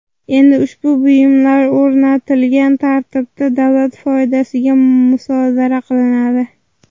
Endi ushbu buyumlar o‘rnatilgan tartibda davlat foydasiga musodara qilinadi.